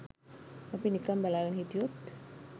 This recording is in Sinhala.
අපි නිකන් බලාගෙන හිටියොත්